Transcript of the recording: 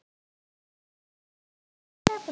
Já, þú.